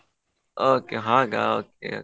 Okay ಹಾಗ okay, okay .